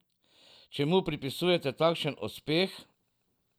Čemu pripisujete takšen uspeh?